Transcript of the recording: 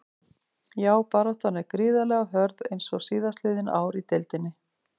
Já baráttan er gríðarlega hörð eins og síðastliðin ár í deildinni.